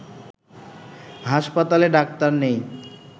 হাসপাতালে ডাক্তার নেই